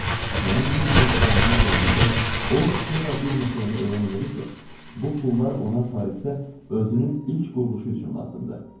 Mənim 100 min frankıma gəldikdə, o sonra bir məsələni elan elədi ki, bu pullar ona Parisdə özünün ilk quruluşu üçün lazımdır.